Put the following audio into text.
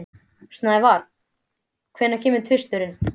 Snævar, hvenær kemur tvisturinn?